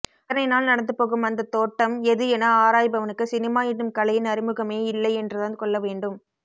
அத்தனை நாள் நடந்துபோகும் அந்த தோட்டம் எது என ஆராய்பவனுக்கு சினிமா என்னும் கலையின் அறிமுகமே இல்லை என்றுதான் கொள்ளவேண்டும்